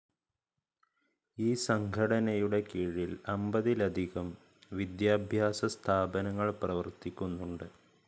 ഈ സംഘടനയുടെ കീഴിൽ അമ്പതിലധികം വിദ്യാഭ്യാസസ്ഥാപനങ്ങൾ പ്രവർത്തിക്കുന്നുണ്ട്.